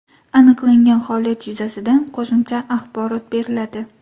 Aniqlangan holat yuzasidan qo‘shimcha axborot beriladi.